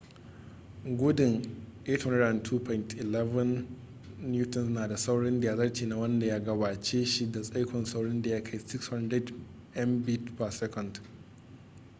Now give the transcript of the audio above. gudun 802.11n na da saurin da ya zarce na wanda ya gabace shi da tsaikon saurin da ya kai 600mbit/s